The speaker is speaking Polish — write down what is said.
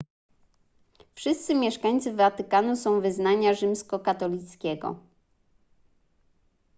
wszyscy mieszkańcy watykanu są wyznania rzymskokatolickiego